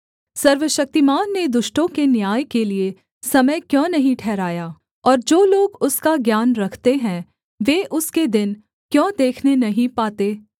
सर्वशक्तिमान ने दुष्टों के न्याय के लिए समय क्यों नहीं ठहराया और जो लोग उसका ज्ञान रखते हैं वे उसके दिन क्यों देखने नहीं पाते